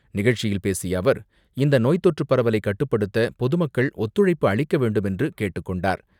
நிகழ்ச்சியில் பேசிய அவர், இந்த நோய் தொற்று பரவலை கட்டுப்படுத்த பொதுமக்கள் ஒத்துழைப்பு அளிக்க வேண்டுமென்று கேட்டுக் கொண்டார்.